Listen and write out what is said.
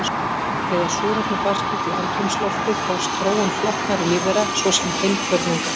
Þegar súrefni barst út í andrúmsloftið hófst þróun flóknari lífvera, svo sem heilkjörnunga.